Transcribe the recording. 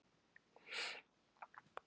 Verðlag er hæst á Íslandi.